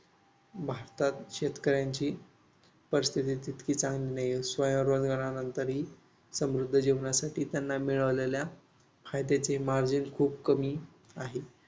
भारतात शेतकऱ्यांची परिस्थिती तितकी चांगली नाही. स्वयंरोजगारानंतरही समृद्ध जीवनासाठी त्यांना मिळालेल्या फायद्याचे Margin खूप कमी आहे.